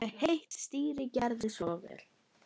Heitt stýri, gerið svo vel.